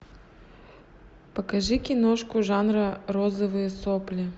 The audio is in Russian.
покажи киношку жанра розовые сопли